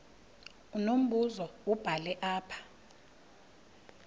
unombuzo wubhale apha